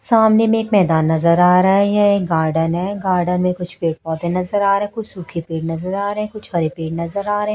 सामने में एक मैदान नजर आ रहा है यह एक गार्डन है गार्डन में कुछ पेड़ पौधे नजर आ रहे कुछ सुखे पेड़ नजर आ रहे कुछ हरे पेड़ नजर आ रहे।